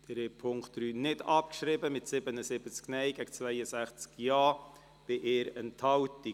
Sie haben den Punkt 3 nicht abgeschrieben mit 77 Nein- gegen 62 Ja-Stimmen bei 1 Enthaltung.